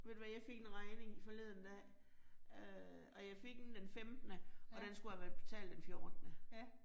Ved du hvad jeg fik en regning i forleden dag. Øh og jeg fik den den femtende, og den skulle have været betalt den fjortende